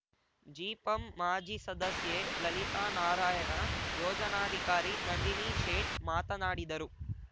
ಜಿಪಂ ಮಾಜಿಸದಸ್ಯೆಲಲಿತಾನಾರಾಯಣ ಯೋಜನಾಧಿಕಾರಿ ನಂದಿನಿ ಶೇಟ್‌ ಮಾತನಾಡಿದರು